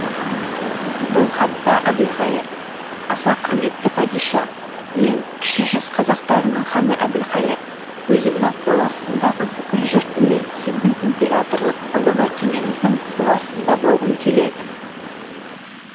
бұл хатта әбілқайыр аса құрметті падиша мен кіші жүз қазақтарыны ханы әбілқайыр өзімнің қол астымдағы бүкіл жұртыммен сіздің императорлық ұлы мәртебеңіздің қол астында болғым келеді